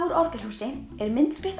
úr Orgelshúsi er myndskreytt